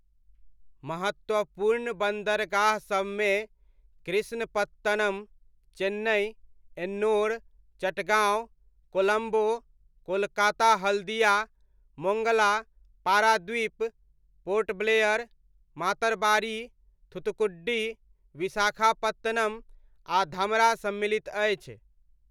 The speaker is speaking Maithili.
महत्वपूर्ण बन्दरगाह सबमे कृष्णपत्तनम, चेन्नइ, एन्नोर, चटगाँव, कोलम्बो, कोलकाता हल्दिया, मोङ्गला, पारादीप, पोर्ट ब्लेयर, मातरबारी, थुत्तुकुडी, विशाखापत्तनम आ धमरा सम्मिलित अछि।